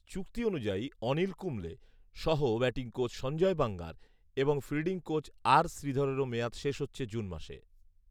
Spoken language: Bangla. চুক্তি অনুযায়ী অনিল কুম্বলে, সহ ব্যাটিং কোচ সজ্ঞয় বাঙ্গার এবং ফিল্ডিং কোচ আর শ্রীধরেরও মেয়াদ শেষ হচ্ছে জুন মাসে